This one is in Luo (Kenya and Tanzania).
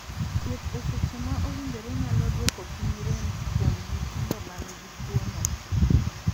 Thieth e seche ma owinjore nyalo duoko piny rem kuom nyithindo man gi tuo no.